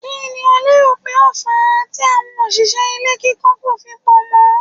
Kí ni o lérò pé ó fàá tí àwọn òṣìṣẹ́ ilé kíkọ́ kò fi pọ̀ mọ́?